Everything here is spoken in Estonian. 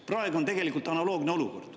Praegu on tegelikult analoogne olukord.